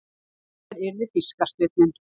Og hér yrði fiskasteinninn.